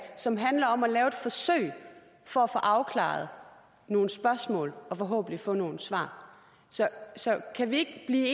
som handler om at lave et forsøg for at få afklaret nogle spørgsmål og forhåbentlig få nogle svar så kan vi ikke